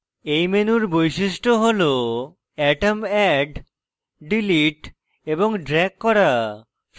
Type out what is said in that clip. এই menu বৈশিষ্ট্য হল atoms অ্যাড ডিলিট এবং drag করা